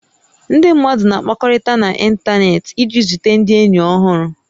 Ndị mmadụ na-akpakọrị̀ta n'ịntanetị iji zute ndị ényì ọhụrụ